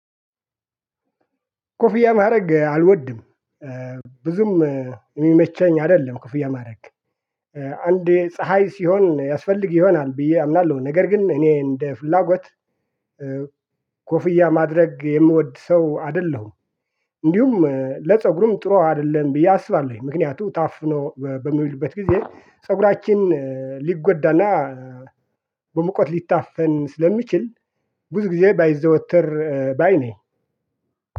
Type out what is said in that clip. ኮፍያ ማድረግ አልወድም። ብዙም የሚመቸኝ አይደለም ኮፍያ ማድረግ። አንዴ ፀሀይ ሲሆን ያስፈልግ ይሆናል ብዬ አምናለሁ ነገር ግን እኔ እንደ ፍላጎት ኮፍያ ማድረግ የምወድ ሰው አይደለሁም። እንዲሁም ለፀጉሩም ጥሩ አይደለም ብዬ አስባለሁ። ምክንያቱ ታፍኖ በሚውልበት ጊዜ ፀጉራችን ሊጎዳና በመቆጥ ሊታፈን ስለሚችል ብዙ ጊዜ ባይዘወትር ባይ ነኝ።